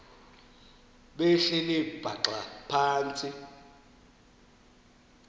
behleli bhaxa phantsi